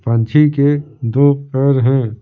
पंछी के दो पैर हैं ।